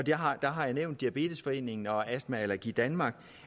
jeg har har nævnt diabetesforeningen og astma allergi danmark